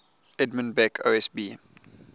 edmund beck osb